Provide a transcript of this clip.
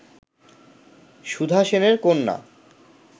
সুধা সেনের কন্যা